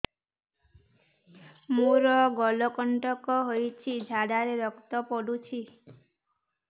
ମୋରୋ ମଳକଣ୍ଟକ ହେଇଚି ଝାଡ଼ାରେ ରକ୍ତ ପଡୁଛି